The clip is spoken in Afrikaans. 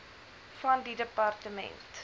van die departement